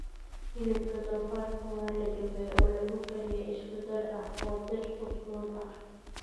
Hilibka doofaarka waa la dubay oo lagu kariyey isku dar ah oo dhir udgoon ah.